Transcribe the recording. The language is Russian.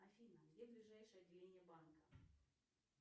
афина где ближайшее отделение банка